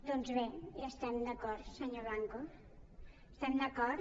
doncs bé hi estem d’acord senyor blanco hi estem d’acord